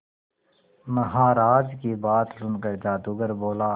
महाराज की बात सुनकर जादूगर बोला